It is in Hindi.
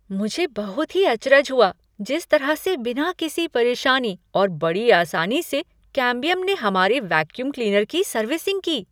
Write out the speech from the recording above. मुझे बहुत ही अचरज हुआ जिस तरह से बिना किसी परेशानी और बड़ी आसानी से कैम्बियम ने हमारे वैक्यूम क्लीनर की सर्विसिंग की।